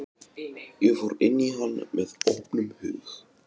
Ég fór inn í hann með opnum hug.